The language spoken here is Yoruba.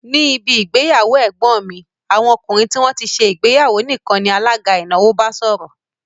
Ní ibi ìgbéyàwó ẹ̀gbọ́n mi, àwọn ọkùnrin tí wón ti ṣe ìgbéyàwó nìkan ni alága ìnáwó bá sọ̀rọ̀